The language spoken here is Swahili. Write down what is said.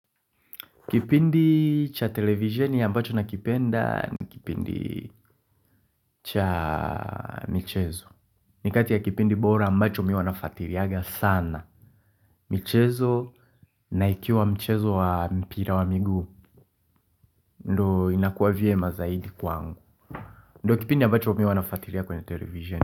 Kipindi cha televisheni ambacho nakipenda ni kipindi cha michezo. Nikati ya kipindi bora ambacho mimi uwa nafuatiliaga sana michezo na ikiwa michezo wa mpira wa miguu ndo inakuwa vyema zaidi kwangu ndo kipindi ambacho mimi uwa nafuatilia kwenye televisheni.